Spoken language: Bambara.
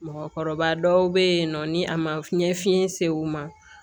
Mɔgɔkɔrɔba dɔw bɛ yen nɔ ni a ma fiɲɛ fiɲɛ se u ma